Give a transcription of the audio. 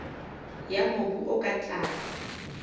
ya mobu o ka tlase